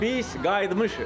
Biz qayıtmışıq.